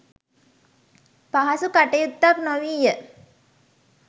පහසු කටයුත්තක් නොවීය.